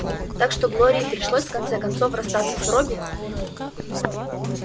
так что глории пришлось в конце концов расстаться с робби